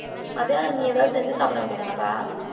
மத்தியானம் நீ ஏதாவது செஞ்சு சாப்பிட வேண்டியதுதானப்பா?